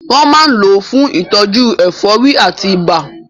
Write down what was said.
Wọ́n máa ń lò ó fún ìtọ́jú ẹ̀fọ́rí àti ibà.